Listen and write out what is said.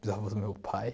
bisavô do meu pai.